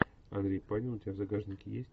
андрей панин у тебя в загашнике есть